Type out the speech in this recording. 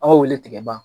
Aw wele tigɛ ban